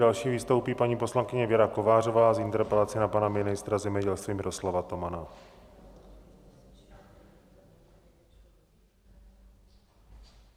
Další vystoupí paní poslankyně Věra Kovářová s interpelací na pana ministra zemědělství Miroslava Tomana.